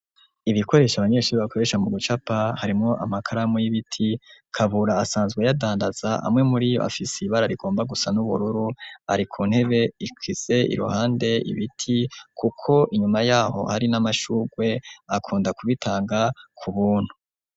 Ibikoresha abanyeshuri bakoresha mu gucapa harimwo amakaramu y'ibiti Kabura asanzwe ayadandaza amwe muriyo afise ibara rigomba gusa n'ubururu, ari ku ntebe ikwize iruhande ibiti kuko inyuma yaho hari n'amashugwe, akunda kubitanga ku buntu.